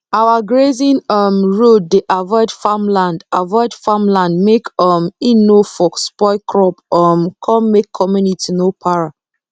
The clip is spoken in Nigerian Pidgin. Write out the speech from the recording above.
our grazing um road dey avoid farm land avoid farm land make um e nor for spoil crop um come make community no para